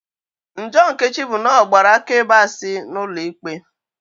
Njọ Nkechi bụ n'ọgbara akaebe asị n'ụlọ ikpe